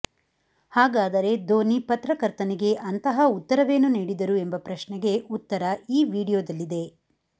ಹಾಗದಾರೆ ಧೋನಿ ಪತ್ರಕರ್ತನಿಗೆ ಅಂತಹ ಉತ್ತರವೇನು ನೀಡಿದರು ಎಂಬ ಪ್ರಶ್ನೆಗೆ ಉತ್ತರ ಈ ವಿಡಿಯೋದಲ್ಲಿದೆ